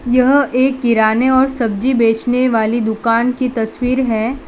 यह एक किराने और सब्जी बेचने वाली दुकान की तस्वीर है।